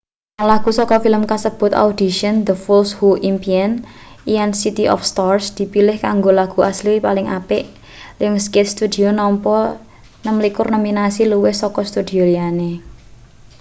rong lagu saka film kasebut audition the fools who impian lan city of stars dipilih kanggo lagu asli paling apik. lionsgate studio nampa 26 nominasi - luwih saka studio liyane